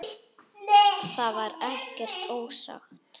Það var ekkert ósagt.